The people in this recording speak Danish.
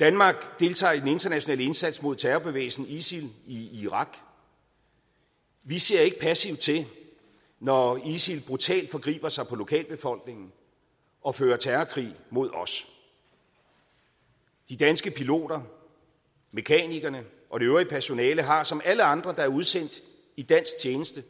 danmark deltager i den internationale indsats mod terrorbevægelsen isil i irak vi ser ikke passivt til når isil brutalt forgriber sig på lokalbefolkningen og fører terrorkrig mod os de danske piloter mekanikerne og det øvrige personale har som alle andre der er udsendt i dansk tjeneste